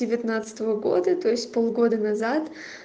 девятнадцатого года то есть полгода назад